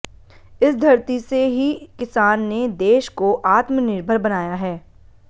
इस धरती से ही किसान ने देश को आत्मनिर्भर बनाया है